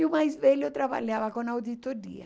E o mais velho trabalhava com auditoria.